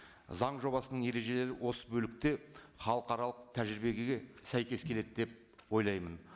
заң жобасының ережелері осы бөлікте халықаралық тәжірибеге сәйкес келеді деп ойлаймын